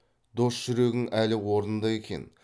дос жүрегің әлі орнында екен